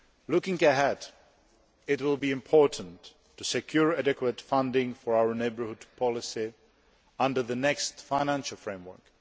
Looking ahead, it will be important to secure adequate funding for our neighbourhood policy under the next financial framework.